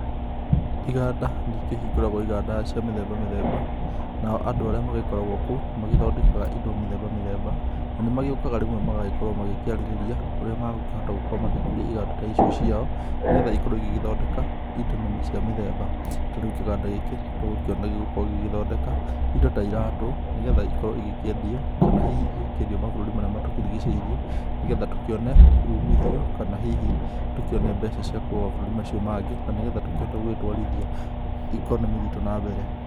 Iganda nĩikĩhingũragwo iganda cia mĩthemba mĩthemba, nao andũ arĩa magĩkoragwo kuo, nĩmagĩthondekaga indo mĩthemba mĩthemba na nimagĩũkaga rĩmwe magagĩkorwo magĩkĩarĩrĩria ũrĩa magũkĩhota gũkorwo magĩkũria iganda ta icio ciao, nigetha ikorwo igĩgĩthondeka indo na cia mĩthemba. Ta rĩu kĩganda gĩkĩ tũgũkĩona gĩgũkorwo gĩgĩthondeka, indo ta iratũ nĩgetha igĩkorwo ikĩendio. Kana hihi igĩkĩendio mabũrũri marĩa matũrigicĩirie, nĩgetha tũkĩone ũmithio kana hihi tũkĩone mbeca cia kuma mabũrũri macio mangĩ. Na nĩgetha tũkĩhote gũtwarithia economy ritũ na mbere.